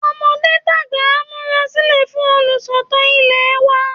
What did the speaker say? Tọmọdé tàgbà á múra sílẹ̀ fún olùsọ̀tàn ilẹ̀ wa